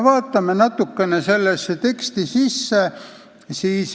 Vaatame natukene seda teksti.